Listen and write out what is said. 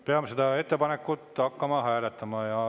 Peame seda ettepanekut hakkama hääletama.